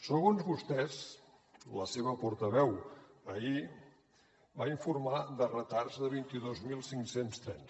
segons vostès la seva portaveu ahir va informar de retards de vint dos mil cinc cents trens